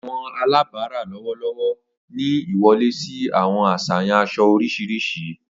Awọn alabara lọwọlọwọ ni iwọle si awọn aṣayan aṣọ oriṣiriṣi